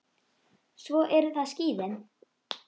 Svo eru það skíðin.